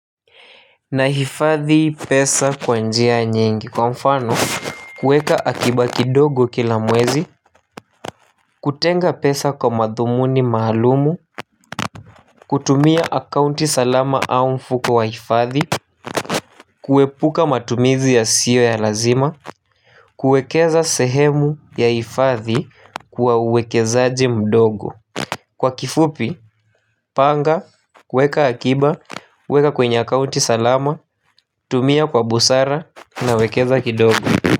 Nahifadhi pesa kwa njia nyingi kwa mfano kueka akiba kidogo kila mwezi. Kutenga pesa kwa madhumuni maalumu. Kutumia akaunti salama au mfuko wa hifadhi. Kuepuka matumizi yasio ya lazima. Kuekeza sehemu ya hifadhi kwa uwekezaji mdogo. Kwa kifupi, panga, kueka akiba, uweka kwenye akaunti salama. Tumia kwa busara nawekeza kidogo. Kwa hivyo.